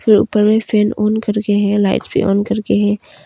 ऊपर में fan on कर के है लाइट्स भी ऑन कर के है।